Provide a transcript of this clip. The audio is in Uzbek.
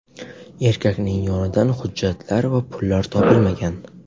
Erkakning yonidan hujjatlar va pullar topilmagan.